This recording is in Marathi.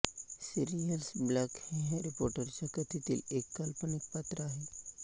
सिरीयस ब्लॅक हे हॅरी पॉटरच्या कथेतील एक काल्पनिक पात्र आहे